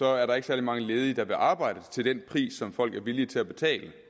er der ikke særlig mange ledige der vil arbejde til den pris som folk er villige til at betale